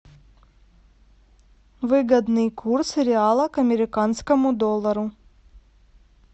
выгодный курс реала к американскому доллару